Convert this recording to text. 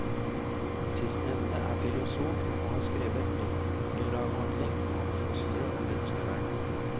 Sistnevnte er filosof og har skrevet doktoravhandling om fostre og menneskeverd.